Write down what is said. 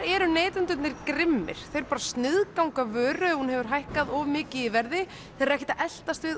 eru neytendur grimmir þeir sniðganga bara vöru ef hún hefur hækkað of mikið í verði eru ekkert að eltast við